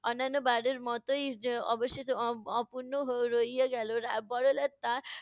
অন্যান্য বারের মতই অবশেষে অ~ অপূর্ন রইয়া গেলো। বড়লাট তার